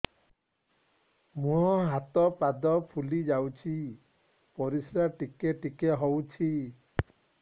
ମୁହଁ ହାତ ପାଦ ଫୁଲି ଯାଉଛି ପରିସ୍ରା ଟିକେ ଟିକେ ହଉଛି